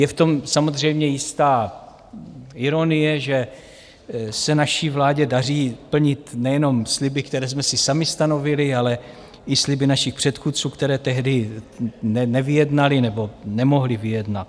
Je v tom samozřejmě jistá ironie, že se naší vládě daří plnit nejenom sliby, které jsme si sami stanovili, ale i sliby našich předchůdců, které tehdy nevyjednali nebo nemohli vyjednat.